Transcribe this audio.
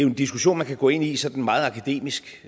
en diskussion man kan gå ind i sådan meget akademisk